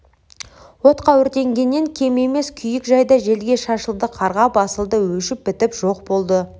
отқа өртенгеннен кем емес күйік жайда желге шашылды қарға басылды өшіп-бітіп жоқ болды